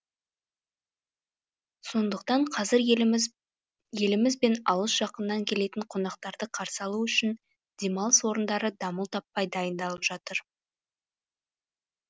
сондықтан қазір еліміз бен алыс жақыннан келетін қонақтарды қарсы алу үшін демалыс орындары дамыл таппай дайындалып жатыр